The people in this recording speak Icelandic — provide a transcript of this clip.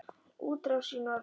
Útrás í norður